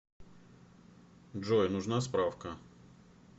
джой нужна справка